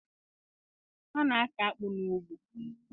A na-akọ akpụ n'ugbo.